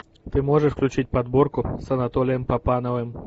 ты можешь включить подборку с анатолием папановым